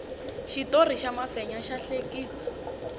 xitori xa mafenya xa hlekisa